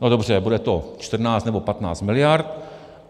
No dobře, bude to 14 nebo 15 mld.